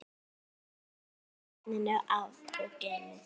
Hellið vatninu af og geymið.